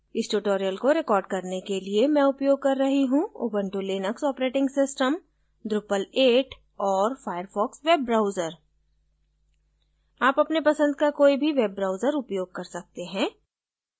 इस tutorial को record करने के लिए मैं उपयोग कर रही हूँ Ubuntu Linux operating system drupal 8 और firefox वेब ब्राउजर आप अपने पसंद का कोई भी वेब ब्राउजर उपयोग कर सकते हैं